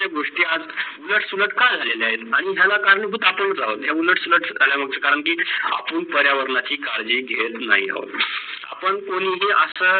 याच प्रकारचे गोष्टी आज जर सुलटकळ झ्हालेल आहेत आणी याला करंभूत आपणच आहोत करण या उलट सुलट कडा मुढे करण की आपण पर्यावनांची काडजी घेत नाही आहोत. आपण कोणीही अस